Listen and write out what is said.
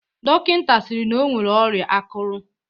Dọkịnta sịrị na o nwere ọrịa akụrụ.